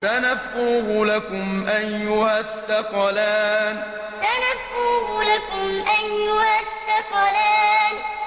سَنَفْرُغُ لَكُمْ أَيُّهَ الثَّقَلَانِ سَنَفْرُغُ لَكُمْ أَيُّهَ الثَّقَلَانِ